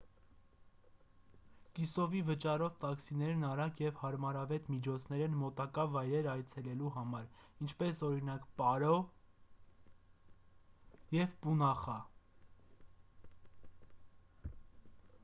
կիսովի վճարով տաքսիներն արագ և հարմարավետ միջոցներ են մոտակա վայրեր այցելելու համար ինչպես օրինակ՝ պարո նու 150 և պունախա նու 200: